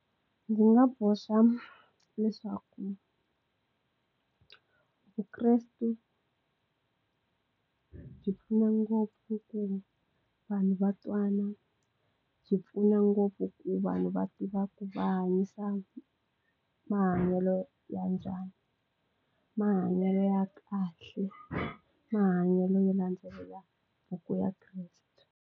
Ndzi nga boxa leswaku vukresti byi pfuna ngopfu ku vanhu va twana byi pfuna ngopfu ku vanhu va tiva ku va hanyisa mahanyelo ya njhani mahanyelo ya kahle mahanyelo yo landzelela buku ya kreste.